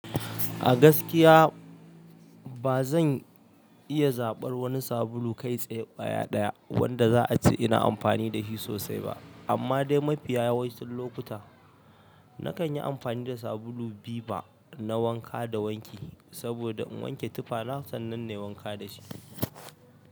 A gaskiya bazan iya zaɓar wani sabulu kai tsaye ƙwaya ɗaya wanda za'a ce ina amfani da shi sosai ba amma dai mafiya wasu lokuta nakan yi amfani da sabulu viva na wanka da wanki saboda in wanke tufana sannan nayi wanka dashi.